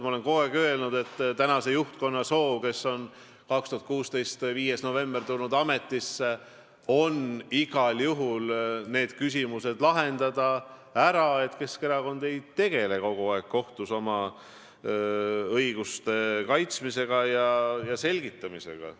Ma olen kogu aeg öelnud, et tänasel juhtkonnal, kes on tulnud ametisse 5. novembril aastal 2016, on soov need küsimused iga juhul ära lahendada, et Keskerakond ei peaks kogu aeg tegelema kohtus oma õiguste kaitsmise ja selgitamisega.